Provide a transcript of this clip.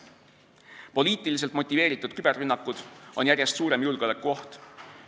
Poliitiliselt motiveeritud küberrünnakud on järjest suurem julgeolekuoht.